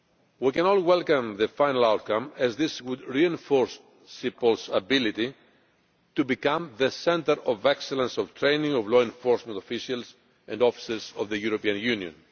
We can all welcome the final outcome, as this would reinforce CEPOL's ability to become the centre of excellence of training of law enforcement officials and officers of the European Union.